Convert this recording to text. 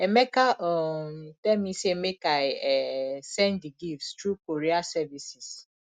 emeka um tell me say make i um send the gift through courier services